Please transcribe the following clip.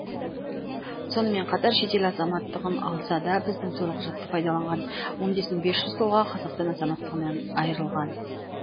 сонымен қатар шетел азаматтығын алса да біздің төлқұжатты пайдаланған он бес мың бес жүз тұлға қазақстан азаматтығынан айырылған